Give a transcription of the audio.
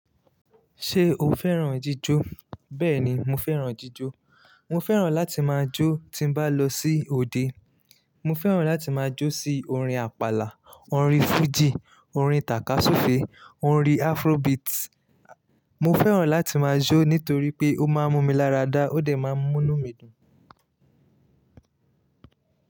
Ṣé o fẹ́ràn jíjó? Bẹ́ẹ̀ni, mo fẹ́ràn jíjó. Mo fẹ́ràn láti máa jó tí bá lọ sí òde. Mo fẹ́ràn láti máa jó sí orin àpàlà, orin fújì, orin tàkasúfèé, orin afrobeat. Mo fẹ́ràn láti máa jó nítorí pé ó máa ń mú mi láradá, ó dẹ̀ máa ń mú inu mí dùn.